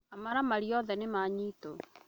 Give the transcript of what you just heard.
Amaramari othe nĩ ma nyitwo